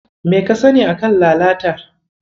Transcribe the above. Me ka sani a kan lalatar?